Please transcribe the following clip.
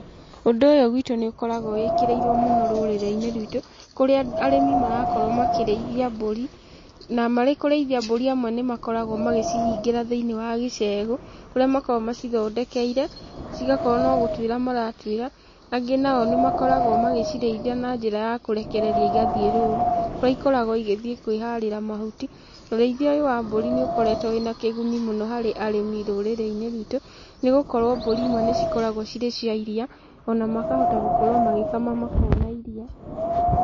Ũndũ ũyũ gwitũ nĩũkoragwo wĩkĩrĩirwo mũno rũrĩrĩ-inĩ rwitũ kũrĩa arĩmi marakorwo makĩrĩithia mbũri na marĩ kũrĩithia mbũri amwe nĩmakoragwo magĩcihingĩra thĩiniĩ wa gĩcegũ kũrĩa makoragwo macithondekeire cigakorwo no gũtuĩra maratuĩra, angĩ na o nĩmakoragwo magĩcirĩithia na njĩra ya kũrekereria cigathiĩ rũru kũria ikoragwo igĩthiĩ kwĩharĩra mahuti, ũrĩithia ũyũ wa mbũri nĩũkoretwo wĩ na kĩguni mũno harĩ arĩmi rũrĩrĩ-inĩ rwitũ nĩgũkorwo mbũri imwe nĩcikoragwo cirĩ cia iria o na makahota gũkorwo magĩkama makona irio.